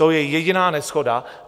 To je jediná neshoda.